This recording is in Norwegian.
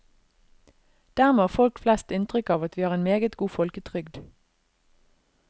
Dermed har folk flest inntrykk av at vi har en meget god folketrygd.